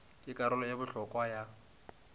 ke karolo ye bohlokwa ya